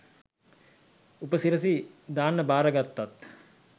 උපසිරැසි දාන්න බාරගත්තත්